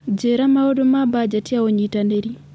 njĩĩra maũndũ ma mbajeti ya unyitanĩri